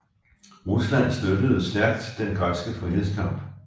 Rusland støttede stærkt den græske frihedskamp